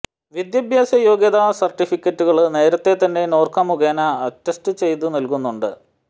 വിദ്യാഭ്യാസ യോഗ്യതാ സര്ട്ടിഫിക്കറ്റുകള് നേരത്തെ തന്നെ നോർക്ക മുഖേന അറ്റസ്റ്റ് ചെയ്തു നല്കുന്നുണ്ട്